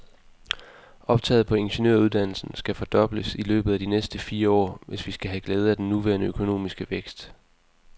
Optaget på ingeniøruddannelsen skal fordobles i løbet af de næste fire år, hvis vi skal have glæde af den nuværende økonomiske vækst.